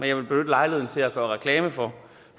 jeg vil benytte lejligheden til at gøre reklame for